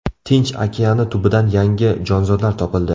Tinch okeani tubidan yangi jonzotlar topildi .